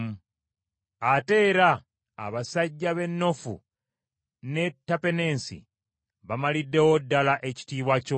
Ate era abasajja b’e Noofu n’e Tapeneesi bamaliddewo ddala ekitiibwa kyo.